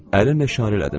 Əllə işarə elədim.